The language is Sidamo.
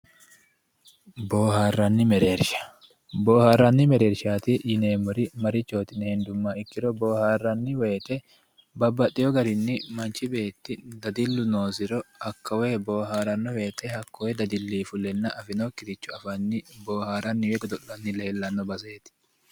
Booharanni mereershati yineemmori marchiti yineemmoha ikkiro boohatanni woyte babbaxino garinni manchi beetti dadilu noosiro hakko booharano woyte hakkoe dadili fulenna woyi afinokkiricho afanni booharanni ofollano baseeti.